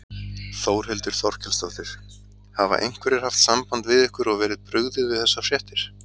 Þórhildur Þorkelsdóttir: Hafa einhverjir haft samband við ykkur og verið brugðið við þessar fréttir?